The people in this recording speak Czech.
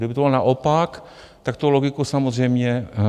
Kdyby to bylo naopak, tak to logiku samozřejmě dává.